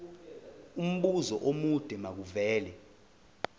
umbuzo omude makuvele